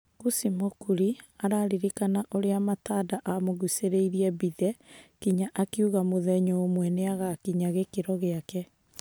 Kũci Mũkuri araririkana ũrĩa Matanda amũgũcĩrĩirie Mbithe nginya akiuga mũthenya ũmwe nĩagakinya gĩkĩro gĩake.